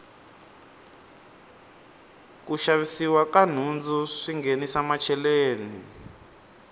ku xavisiwa ka nhundzu swi nghenisa macheleni